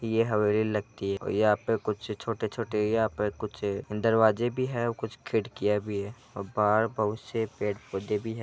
यह हवेली लगती है और यहां पे कुछ छोटे-छोटे यहां पे कुछ दरवाजे भी हैं कुछ खिड़कियां भी हैं और बाहर बहुत से पेड़ पौधे भी है।